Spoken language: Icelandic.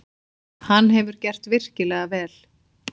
Hann hefur gert virkilega vel.